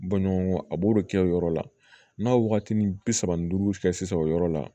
Bɔnɲɔgɔn a b'o de kɛ o yɔrɔ la n'a waatini bi saba ni duuru kɛ sisan o yɔrɔ la